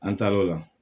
An taar'o la